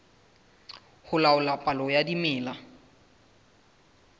ho laola palo ya dimela